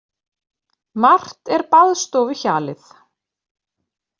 Margt er baðstofuhjalið.